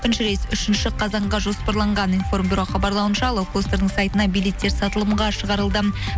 рейс үшінші қазанға жоспарланған информбюро хабарлауынша лоукостердің сайтына билеттер сатылымға шығарылды